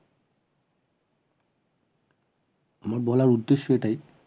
আমার বলার উদ্দেশ্য এটাই